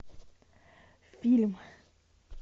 фильм